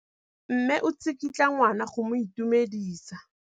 Mme o tsikitla ngwana go mo itumedisa.